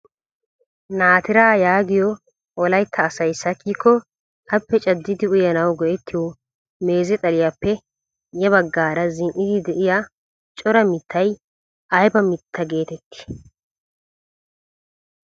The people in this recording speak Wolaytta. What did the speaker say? Naatiraa yaagiyoo wolaytta asay sakkiko appe caaddidi uyanawu go"ettiyoo meeze xaliyaappe ya baggaara zin"idi de'iyaa cora mittay ayba mittaa getettii?